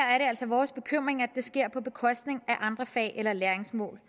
altså vores bekymring at det sker på bekostning af andre fag eller læringsmål